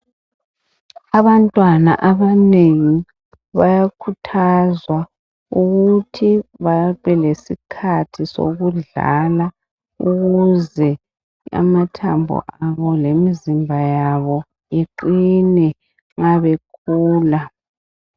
Abantwana abanengi bayakhuthazwa ukuthi babe lesikhathi sokudlala ukuze amathambo abo lemizimba yabo iqine nxa bekhula.